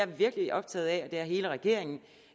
virkelig optaget af og det er hele regeringen